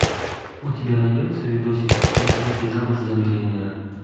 у тебя найдется видосик как выйти замуж за миллионера